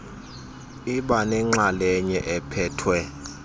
iba nenxalenye ephethwe